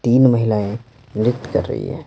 तीन महिलाएं नियुक्त कर रही है।